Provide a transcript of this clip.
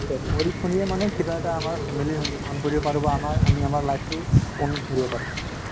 পঢ়ি শুনিয়ে মানে কিবা এটা family ভাল কৰিব পাৰো বা আমি আমাৰ life তো উন্নতি কৰিব পাৰো